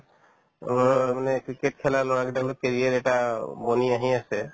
অ', মানে cricket খেলা ল'ৰা কেইটাই মানে career এটা অ বনি আহি আছে